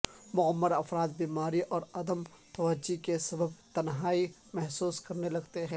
معمر افراد بیماری اور عدم توجہی کے سبب تنہائی محسوس کرنے لگتے ہیں